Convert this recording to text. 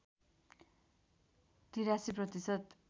८३ प्रतिशत